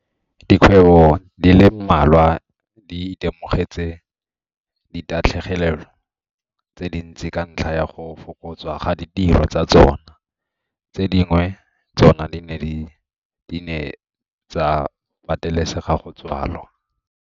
Dikgwebo di le mmalwa di itemogetse ditatlhegelo tse dintsi ka ntlha ya go fokotswa ga ditiro tsa tsona. Tse dingwe tsona di ne tsa patelesega go tswalwa.